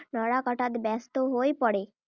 নৰা কটাত ব্যস্ত হৈ পৰে।